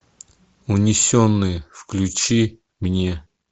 унесенные включи мне